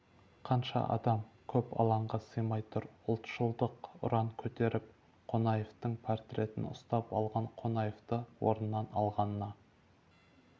қанша адам көп алаңға сыймай тұр ұлтшылдық ұран көтерііп қонаевтың портретін ұстап алған қонаевты орнынан алғанына